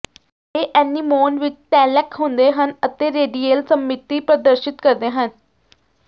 ਇਹ ਐਨੀਮੋਨ ਵਿੱਚ ਟੈਲੈਂਕ ਹੁੰਦੇ ਹਨ ਅਤੇ ਰੇਡੀਏਲ ਸਮਮਿਤੀ ਪ੍ਰਦਰਸ਼ਿਤ ਕਰਦੇ ਹਨ